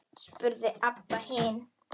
spurði Abba hin.